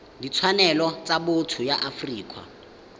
ditshwanelo tsa botho ya afrika